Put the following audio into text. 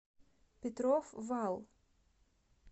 петров вал